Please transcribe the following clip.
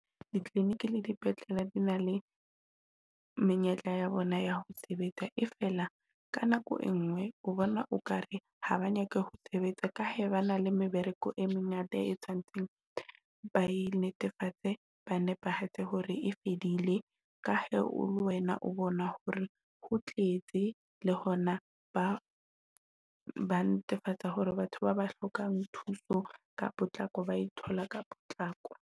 Di-clinic le dipetlele di na le menyetla ya bona ya ho sebetsa e fela ka nako e ngwe ho bona o ka re ha ba nyaka ho sebetsa ka ha ba na le mebereko e mengata e tshwantseng ba e netefatse, ba nepahetse hore e fedile. Ka he le wena o bona hore ho tletse le hona ba ba netefatsa hore batho ba ba hlokang thuso ka potlako ba e thola ka potlako.